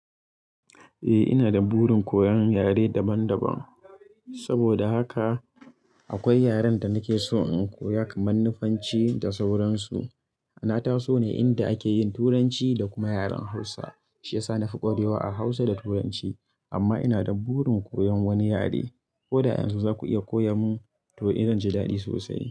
Eh ina da burin koyan yare daban daban saboda haka akwai yaren da nake so in koya kaman nufanci da sauransu. Na taso ne inda akeyin turanci da kuma yaren hausa shiyasa na fi ƙwarewa a hausa da turanci amma ina da burin koyan wani yare. Ko da yanxu zaku iya koya mun to eh zanji daɗi sosai.